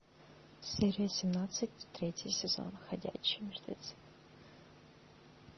серия семнадцать третий сезон ходячие мертвецы